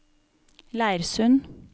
Leirsund